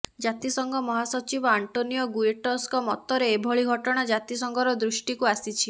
ଜାତିସଂଘ ମହାସଚିବ ଆଣ୍ଟୋନିଓ ଗୁ୍ୟଟର୍ସଙ୍କ ମତରେ ଏଭଳି ଘଟଣା ଜାତିସଂଘର ଦୃଷ୍ଟିକୁ ଆସିଛି